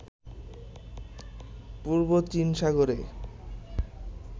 পূর্ব চীন সাগরে